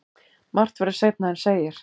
Margt verður seinna en segir.